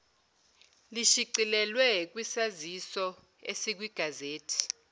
lishicilelwe kwisaziso esikwigazethi